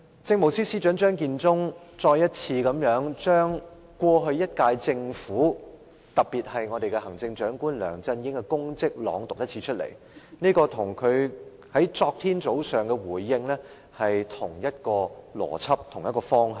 政務司司長張建宗剛才再次把這一屆政府，特別是行政長官梁振英的功績再次朗讀，這與他昨天早上的回應是同一邏輯、同一方向。